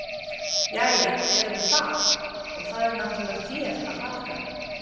Jæja, erum við það, og það er náttúrlega þér að þakka!